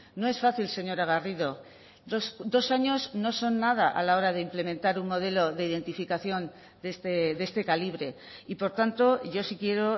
no es fácil señora garrido dos años no son nada a la hora de implementar un modelo de identificación de este calibre y por tanto yo sí quiero